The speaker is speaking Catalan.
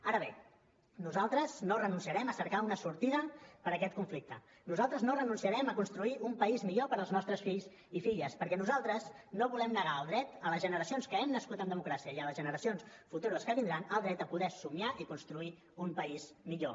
ara bé nosaltres no renunciarem a cercar una sortida per a aquest conflicte nosaltres no renunciarem a construir un país millor per als nostres fills i filles perquè nosaltres no volem negar el dret a les generacions que hem nascut en democràcia i a les generacions futures que vindran el dret a poder somiar i construir un país millor